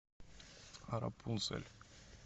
рапунцель